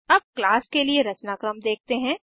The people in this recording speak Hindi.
अब क्लास के लिए रचनाक्रम देखते हैं